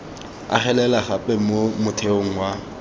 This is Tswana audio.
agelela gape mo motheong wa